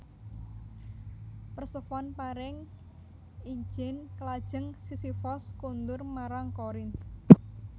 Persefone paring ijin lajeng Sisifos kondur marang Korinth